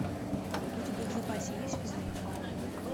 у тебя в запасе есть физрук